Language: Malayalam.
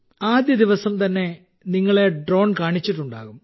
ആദ്യദിവസം തന്നെ നിങ്ങളെ ഡ്രോൺ കാണിച്ചിട്ടുണ്ടാകും